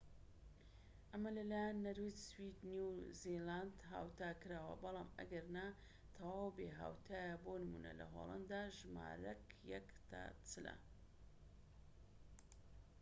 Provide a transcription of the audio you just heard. ئەمە لە لایەن نەرویج، سوید و نیو زیلاند هاوتاکراوە، بەڵام ئەگەرنا تەواو بێھاوتایە بۆ نموونە لە هۆلەندا ژمارەکە یەک تا چلە